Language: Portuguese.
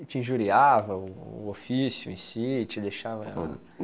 E te injuriava o ofício em si, te deixava...?